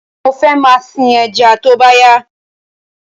Mo fẹ máa sìn ẹja tóbá yá